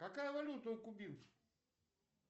какая валюта у кубинцев